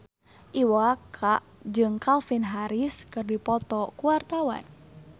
Iwa K jeung Calvin Harris keur dipoto ku wartawan